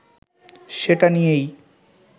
সেটা নিয়েই